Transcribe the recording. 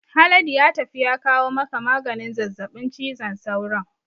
Haladu ya tafi ya kawo maka maganin zazzabin cizon sauron